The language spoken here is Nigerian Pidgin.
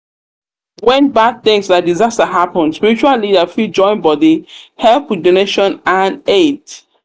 when bad thing like disaster happen spiritual leader fit join bodi help with donation and aid